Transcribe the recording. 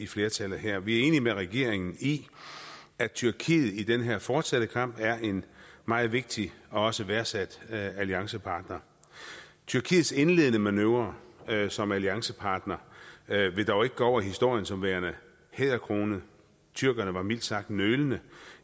flertallet her vi er enige med regeringen i at tyrkiet i den her fortsatte kamp er en meget vigtig og også værdsat alliancepartner tyrkiets indledende manøvre som alliancepartner vil dog ikke gå over i historien som værende hæderkronet tyrkerne var mildt sagt nølende